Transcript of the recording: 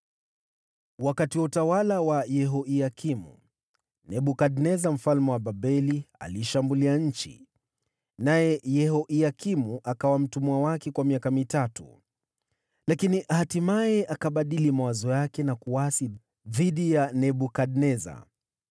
Wakati wa utawala wa Yehoyakimu, Nebukadneza mfalme wa Babeli aliishambulia nchi, naye Yehoyakimu akawa mtumwa wake kwa miaka mitatu. Lakini hatimaye akabadili mawazo yake na kuasi dhidi ya Nebukadneza.